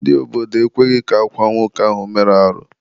Ndị obodo ekweghị ka akwaa nwoke ahụ mere arụ.